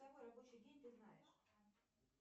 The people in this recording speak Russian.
какой рабочий день ты знаешь